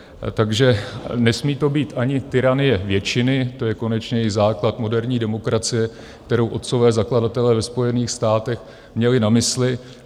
Takže nesmí to být ani tyranie většiny, to je konečně i základ moderní demokracie, kterou otcové zakladatelé ve Spojených státech měli na mysli.